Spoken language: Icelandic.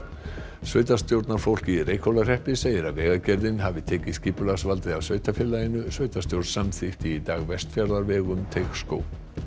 sveitarstjórnarfólk í Reykhólahreppi segir að Vegagerðin hafi tekið skipulagsvaldið af sveitarfélaginu sveitarstjórn samþykkti í dag Vestfjarðarveg um Teigsskóg